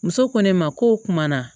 Muso ko ne ma ko kuma na